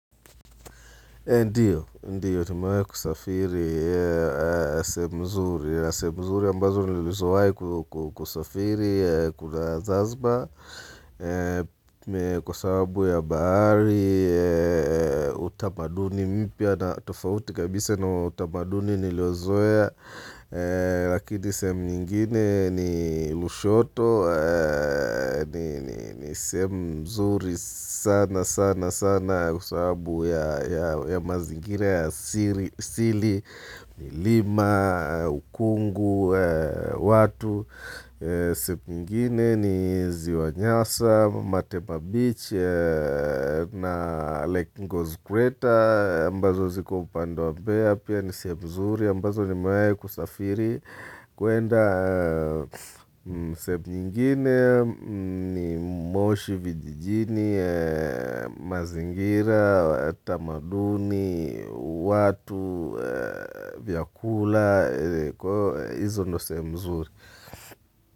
Ndiyo, ndiyo. Tumawahi kusafiri sehemu nzuri. Sehemu nzuri ambazo nilizoea kusafiri, kuna Zazbar. Kwa sababu ya bahari, utamaduni mpya na tofauti kabisa na utamaduni niliouzoea. Lakini sehemu nyingine ni Lushoto ni sehemu nzuri sana sana sana. Kwa sababu ya mazingira ya asili milima, ukungu, watu. Sehemu nyingine ni ziwa Nyaa, Matepa Beach na lake Ngoze Crater mbazo ziko upande wa Bea pia ni sehemu mzuri ambazo nimawahi kusafiri kwenda sehemu nyingine ni moshi vijijini, mazingira, tamaduni, watu, vyakula, kwa hivyo hizo ndizo sehemu nzuri.